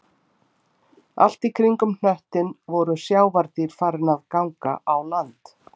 Allt í kringum hnöttinn voru sjávardýr farin að ganga á land